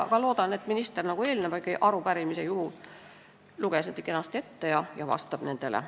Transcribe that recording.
Ma loodan, et minister loeb need kenasti ette nagu eelmise arupärimise puhul ja vastab nendele.